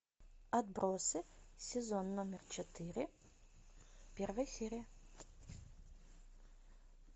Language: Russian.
отбросы сезон номер четыре первая серия